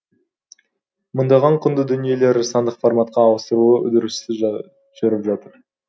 мыңдаған құнды дүниелері сандық форматқа ауыстыру үдерісі жүріп жатыр